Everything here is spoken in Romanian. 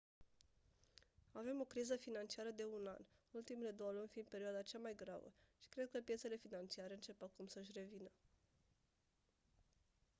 «avem o criză financiară de un an ultimele două luni fiind perioada cea mai gravă și cred că piețele financiare încep acum să-și revină».